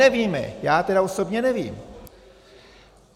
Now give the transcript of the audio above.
Nevíme, já tedy osobně nevím.